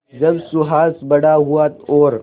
जब सुहास बड़ा हुआ और